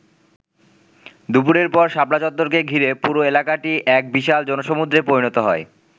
দুপুরের পর শাপলা চত্বরকে ঘিরে পুরো এলাকাটি এক বিশাল জনসমূদ্রে পরিণত হয়।